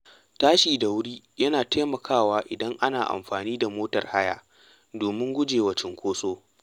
Tashi da wuri yana taimakawa idan ana amfani da motar haya domin gujewa cunkoso.